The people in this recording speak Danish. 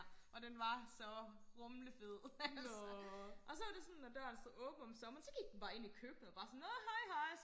og den var så rumlefed altså og så var det sådan når døren stod åbent om sommeren så gik den bare ind i køkkenet og bare sådan nå hej hej